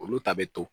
Olu ta bɛ to